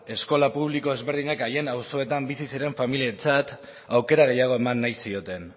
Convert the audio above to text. eskola publiko ezberdinek haien auzoetan bizi ziren familiarentzat aukera gehiago eman nahi zioten